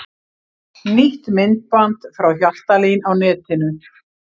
Nýtt myndband frá Hjaltalín á netinu